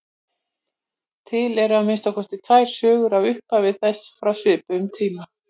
Til eru að minnsta kosti tvær sögur af upphafi þess frá svipuðum tíma.